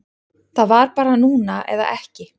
Það var bara núna eða ekki